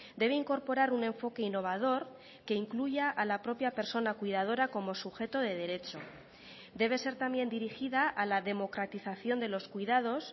debe incorporar un enfoque innovador que incluya a la propia persona cuidadora como sujeto de derecho debe ser también dirigida a la democratización de los cuidados